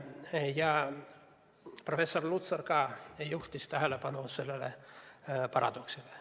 Ka professor Lutsar juhtis sellele paradoksile tähelepanu.